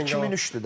2003-dür də.